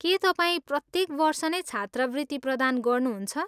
के तपाईँ प्रत्येक वर्ष नै छात्रवृत्ति प्रदान गर्नुहुन्छ?